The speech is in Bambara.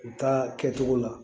U ta kɛcogo la